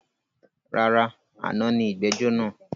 Rárá, àná ni ìgbẹ́jọ́ naa